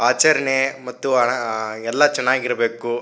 ಆಚರಣೆ ಮತ್ತು ಹ ಎಲ್ಲ ಚೆನ್ನಾಗಿರಬೇಕು.